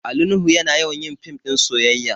Ali nuhu yana yawan yin fim ɗin soyayya